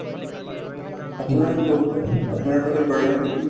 আপোনাৰ কওকচোন আপোনাৰ ফালে কৰে নে খেতি?